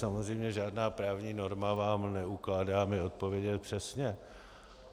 Samozřejmě, žádná právní norma vám neukládá mi odpovědět přesně.